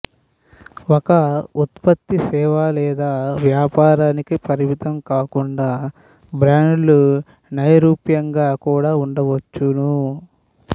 ఒక ఉత్పత్తి సేవ లేదా వ్యాపారానికే పరిమితం కాకుండా బ్రాండ్లు నైరూప్యంగా కూడా ఉండవచ్చును